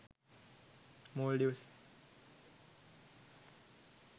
maldives